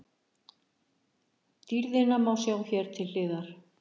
Dýrðina má sjá hér til hliðar.